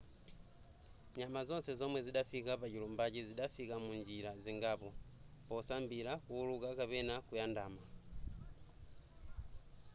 nyama zonse zomwe zidafika pachilumbachi zidafika munjira zingapo posambira kuwuluka kapena kuyandama